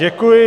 Děkuji.